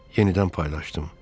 Yenidən paylaşdım.